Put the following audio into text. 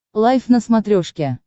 лайф на смотрешке